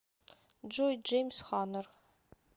джой джеймс хорнер